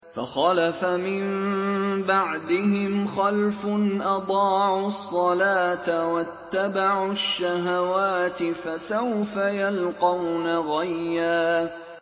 ۞ فَخَلَفَ مِن بَعْدِهِمْ خَلْفٌ أَضَاعُوا الصَّلَاةَ وَاتَّبَعُوا الشَّهَوَاتِ ۖ فَسَوْفَ يَلْقَوْنَ غَيًّا